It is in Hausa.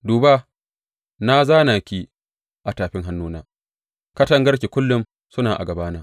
Duba, na zāna ki a tafin hannuwana; katangarki kullum suna a gabana.